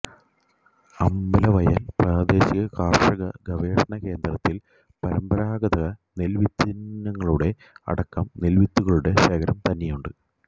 അമ്പലവയൽ പ്രാദേശിക കാർഷിക ഗവേഷണ കേന്ദ്രത്തിൽ പരമ്പരാഗത നെൽവിത്തിനങ്ങളുടെ അടക്കം നെൽവിത്തുകളുടെ ശേഖരം തന്നെയുണ്ട്